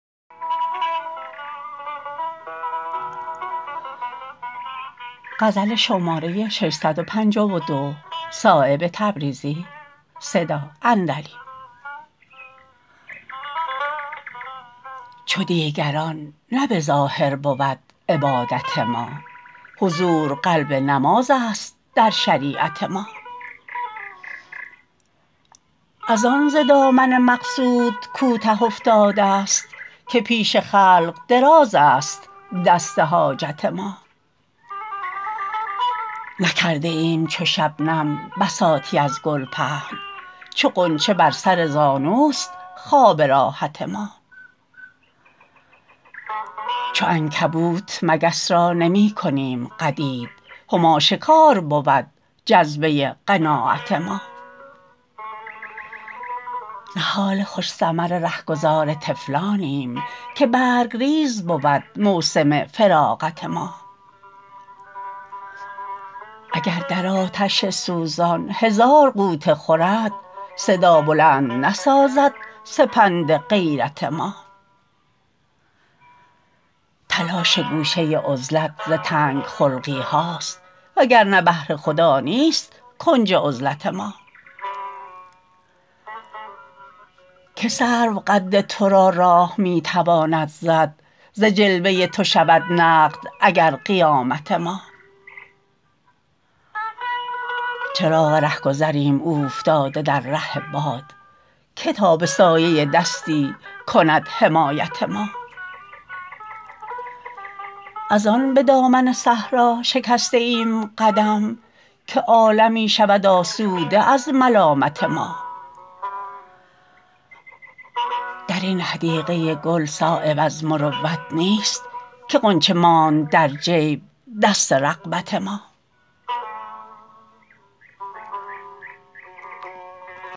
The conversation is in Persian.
چو دیگران نه به ظاهر بود عبادت ما حضور قلب نمازست در شریعت ما ازان ز دامن مقصود کوته افتاده است که پیش خلق درازست دست حاجت ما نکرده ایم چو شبنم بساطی از گل پهن چو غنچه بر سر زانوست خواب راحت ما چو عنکبوت مگس را نمی کنیم قدید هماشکار بود جذبه قناعت ما نهال خوش ثمر رهگذار طفلانیم که برگریز بود موسم فراغت ما اگر در آتش سوزان هزار غوطه خورد صدا بلند نسازد سپند غیرت ما تلاش گوشه عزلت ز تنگ خلقی هاست وگرنه بهر خدا نیست کنج عزلت ما که سرو قد ترا راه می تواند زد ز جلوه تو شود نقد اگر قیامت ما چراغ رهگذریم اوفتاده در ره باد که تا به سایه دستی کند حمایت ما ازان به دامن صحرا شکسته ایم قدم که عالمی شود آسوده از ملامت ما درین حدیقه گل صایب از مروت نیست که غنچه ماند در جیب دست رغبت ما